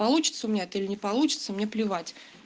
получится у меня или не получится мне плевать